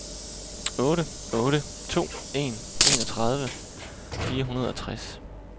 otte otte to en enogtredive fire hundrede og tres